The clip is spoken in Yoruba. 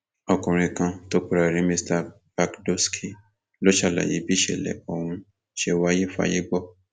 ọkùnrin kan tó pera ẹ ní mr bhagdoosky ló ṣàlàyé bí ìṣẹlẹ ọhún ṣe wáyé fáyé gbọ